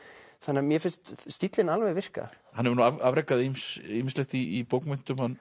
mér finnst stíllinn alveg virka hann hefur nú afrekað ýmislegt í bókmenntum hann